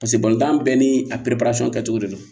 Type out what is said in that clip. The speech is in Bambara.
Paseke bɛɛ ni a kɛcogo de don